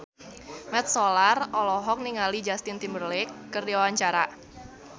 Mat Solar olohok ningali Justin Timberlake keur diwawancara